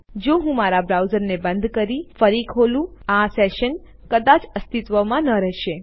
તેથી જો હું મારા બ્રાઉઝરને બંધ કરી ફરી ખોલું આ સેશન કદાચ અસ્તિત્વમાં ન રહેશે